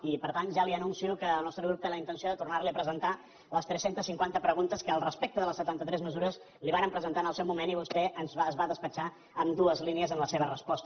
i per tant ja li anuncio que el nostre grup té la intenció de tornar li a presentar les tres centes cinquanta preguntes que al respecte de les setanta tres mesures li vàrem presentar en el seu moment i que vostè es va despatxar amb dues línies en la seva resposta